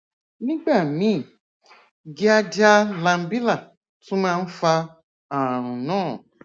nígbà míì cs] giardia lamblia tún máa ń fa ààrùn náà